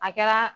A kɛra